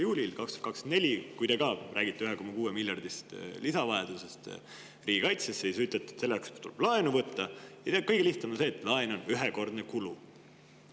juunil 2024, kui te rääkisite 1,6 miljardi suurusest lisavajadusest riigikaitses, ning ütlesite, et selleks tuleb laenu võtta ja see on kõige lihtsam, sest laen on ühekordne kulu.